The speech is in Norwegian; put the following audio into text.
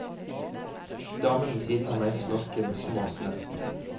Damen ved siden av meg snorker med små snøft.